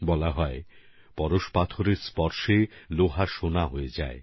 বলা হয় পরশমনির ছোঁয়ায় লোহা সোনায় পরিবর্তিত হয়